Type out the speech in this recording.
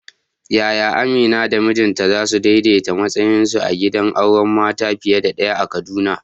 Yaya Amina da mijinta za su daidaita matsayinsu a gidan auren mata fiye da ɗaya a Kaduna?